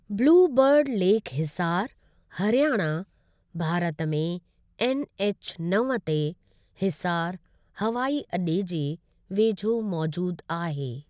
Blue bird lake Hisar, Haryana, Bharat में NH नव ते हिसार हवाई अॾे जे वेझो मौज़ूद आहे।